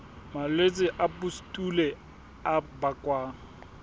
malwetse a pustule a bakwang